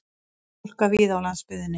Hálka víða á landsbyggðinni